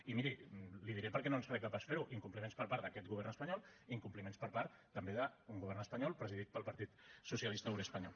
i miri li ho diré perquè no ens reca pas fer ho incompliments per part d’aquest govern espanyol i incompliments per part també d’un govern espanyol presidit pel partit socialista obrer espanyol